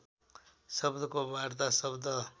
शब्दको वार्ता शब्द